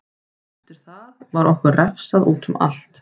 Eftir það var okkur refsað útum allt.